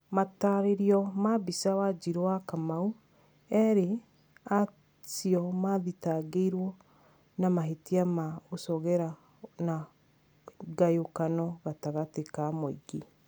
Matarĩrio ma mbica wanjiru wakamau erĩ acio mathitangĩirwo na mahĩtia ma gũcogera na ngayukano gatagatĩ ka mũingĩ